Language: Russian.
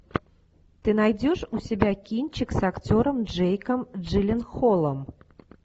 ты найдешь у себя кинчик с актером джейком джилленхолом